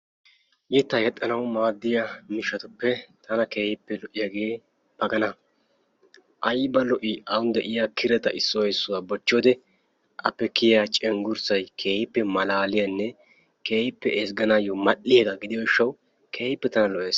Yeetta yexanawu maadiyaa miishshatuppe tana keehippe lo"iyaage maggala, aybba lo"i ani de'iyaa kiretta issuwa isuwaa bochchiyodde appe kiyaa cenggursay keehippe maallaliyanne keehippe ezgganayo mal'iyaagga gidiyo gishshawu keehippe tana lo"es.